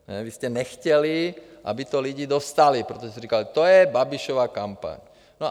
Vy jste nechtěli, aby to lidi dostali, protože jste říkali: to je Babišova kampaň.